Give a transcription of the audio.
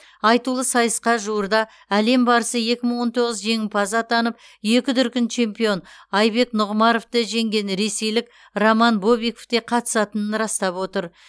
айтулы сайысқа жуырда әлем барысы екі мың он тоғыз жеңімпазы атанып екі дүркін чемпион айбек нұғымаровты жеңген ресейлік роман бобиков та қатысатынын растап отыр